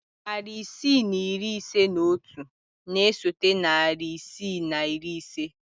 Narị isii na iri ise na otu na-esote narị isii na iri ise.